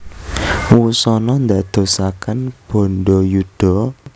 Wusana ndadosaken bandayuda